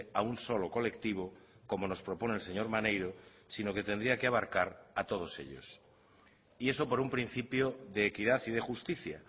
a un solo colectivo como nos propone el señor maneiro sino que tendría que abarcar a todos ellos y eso por un principio de equidad y de justicia